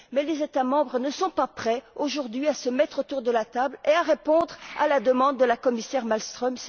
Les États membres ne sont pas prêts, aujourd'hui, à se mettre autour de la table et à répondre à la demande de Mme la commissaire Malmström.